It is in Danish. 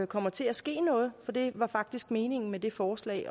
kommer til at ske noget for det var faktisk meningen med det forslag